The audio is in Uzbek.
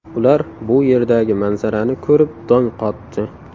Ular bu yerdagi manzarani ko‘rib dong qotdi.